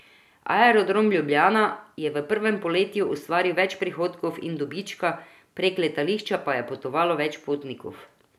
Aerodrom Ljubljana je v prvem polletju ustvaril več prihodkov in dobička, prek letališča pa je potovalo več potnikov.